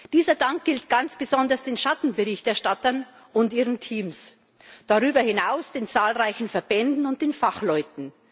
Dieser Dank gilt ganz besonders den Schattenberichterstattern und ihren Teams, darüber hinaus den zahlreichen Verbänden und den Fachleuten.